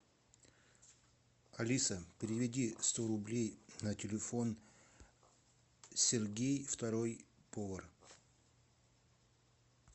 алиса переведи сто рублей на телефон сергей второй повар